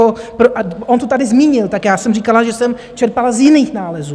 On to tady zmínil, tak já jsem říkala, že jsem čerpala z jiných nálezů.